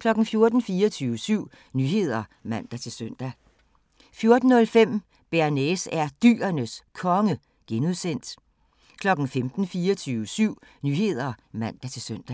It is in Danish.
14:00: 24syv Nyheder (man-søn) 14:05: Bearnaise er Dyrenes Konge (G) 15:00: 24syv Nyheder (man-søn)